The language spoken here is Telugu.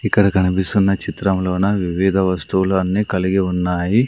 ఇక్కడ కనిపిస్తున్న చిత్రంలోన వివిధ వస్తువులు అన్నీ కలిగి ఉన్నాయి.